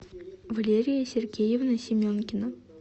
валерия сергеевна семенкина